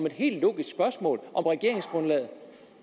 et helt logisk spørgsmål om regeringsgrundlaget